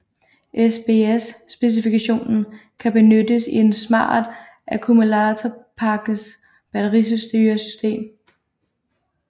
SBS specifikationen kan benyttes i et smart akkumulatorpakkes batteristyresystem